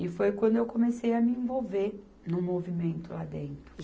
E foi quando eu comecei a me envolver no movimento lá dentro.